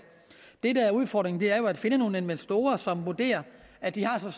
det der er udfordringen er at finde nogle investorer som vurderer at de har